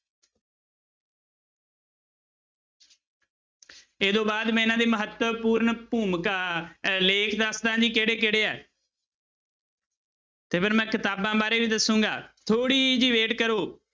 ਇਹ ਤੋਂ ਬਾਅਦ ਮੈਂ ਇਹਨਾਂ ਦੇ ਮਹੱਤਵਪੂਰਨ ਭੂਮਿਕਾ ਅਹ ਲੇਖ ਦੱਸਦਾਂ ਜੀ ਕਿਹੜੇ ਕਿਹੜੇ ਆ ਤੇ ਫਿਰ ਮੈਂ ਕਿਤਾਬਾਂ ਬਾਰੇ ਵੀ ਦੱਸਾਂਗਾ ਥੋੜ੍ਹੀ ਜਿਹੀ wait ਕਰੋ